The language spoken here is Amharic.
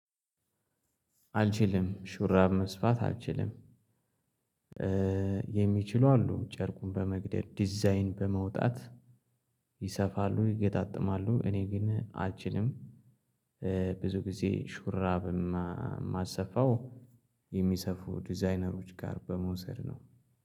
አልችልም ሹራብ መስፋት አልችልም። የሚችሉ አሉ ጨርቁን በመቅደድ ዲዛይን በመውጣት ይሰፋሉ ይገጣጥማሉ እኔ ግን አችንም ብዙ ጊዜ ሹራብ የማሰፋው የሚሰፉ ዲዛይነሮች ጋር በመውሰድ ነው።